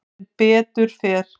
Sem betur fer